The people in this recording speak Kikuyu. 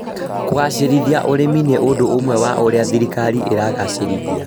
kũgacĩrithia ũrĩmi nĩ ũndũ ũmwe wa ũrĩa thirikari ĩragacĩrithia